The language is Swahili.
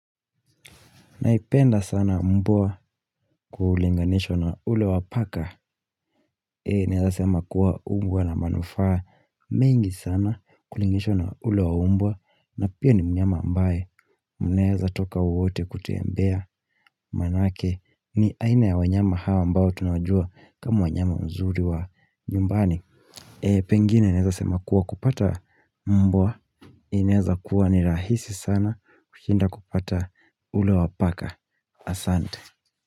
Naipenda sana mvua kulinganishwa na ule wa paka. Eh, naweza sema kuwa hukuwa na manufaa. Mengi sana kulinganishwa na ule wa umbwa. Na pia ni mnyama ambaye. Mnawezatoka wote kutembea manake. Ni aina ya wanyama hawa ambao tunajua kama wanyama wazuri wa nyumbani. Eh, pengine naweza sema kuwa kupata mbwa. Ineza kuwa ni rahisi sana kushinda kupata ule wa paka. Asante.